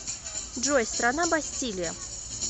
джой страна бастилия